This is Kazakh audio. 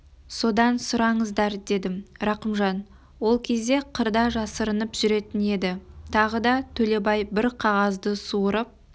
содан сұраңыздар дедім рақымжан ол кезде қырда жасырынып жүретін еді тағы да төлебай бір қағазды суырып